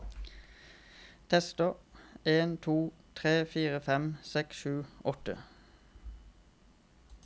Tester en to tre fire fem seks sju åtte